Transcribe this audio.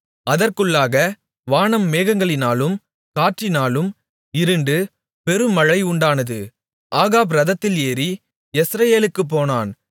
அதற்குள்ளாக வானம் மேகங்களினாலும் காற்றினாலும் இருண்டு பெருமழை உண்டானது ஆகாப் இரதத்தில் ஏறி யெஸ்ரயேலுக்குப் போனான்